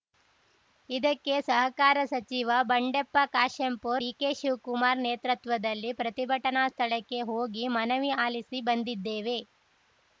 ಇದಕ್ಕೆ ಸಹಕಾರ ಸಚಿವ ಬಂಡೆಪ್ಪ ಕಾಶೆಂಪೂರ್‌ ಡಿಕೆ ಶಿವಕುಮಾರ್‌ ನೇತೃತ್ವದಲ್ಲಿ ಪ್ರತಿಭಟನಾ ಸ್ಥಳಕ್ಕೆ ಹೋಗಿ ಮನವಿ ಆಲಿಸಿ ಬಂದಿದ್ದೇವೆ